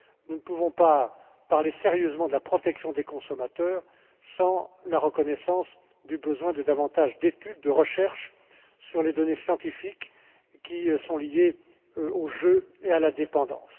Nous ne pouvons pas parler sérieusement de la protection des consommateurs sans la reconnaissance du besoin de davantage d'études, de recherches sur les données scientifiques qui sont liées au jeu et à la dépendance.